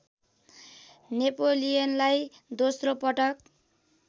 नेपोलियनलाई दोस्रोपटक